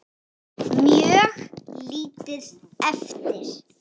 Mjög lítið eftir.